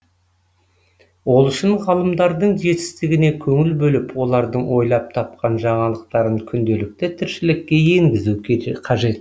ол үшін ғалымдардың жетістігіне көңіл бөліп олардың ойлап тапқан жаңалықтарын күнделікті тіршілікке енгізу қажет